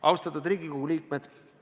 Austatud Riigikogu liikmed!